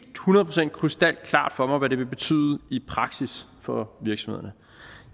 hundrede procent krystalklart for mig hvad det vil betyde i praksis for virksomhederne